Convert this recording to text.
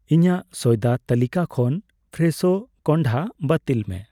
ᱤᱧᱟᱜ ᱥᱚᱭᱫᱟ ᱛᱟᱹᱞᱤᱠᱟ ᱠᱷᱚᱱ ᱯᱷᱨᱮᱥᱷᱳ ᱠᱚᱱᱰᱦᱟ ᱵᱟᱹᱛᱤᱞ ᱢᱮ ᱾